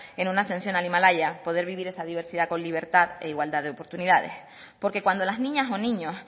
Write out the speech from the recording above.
en una ascensión al himalaya poder vivir esa diversidad con libertad e igualdad de oportunidades porque cuando las niñas o niños